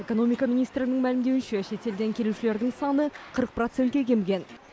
экономика министрінің мәлімдеуінше шетелден келушілердің саны қырық процентке кеміген